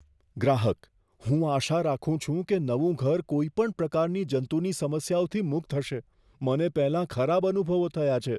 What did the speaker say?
ગ્રાહકઃ "હું આશા રાખું છું કે નવું ઘર કોઈપણ પ્રકારની જંતુની સમસ્યાઓથી મુક્ત હશે, મને પહેલાં ખરાબ અનુભવો થયા છે."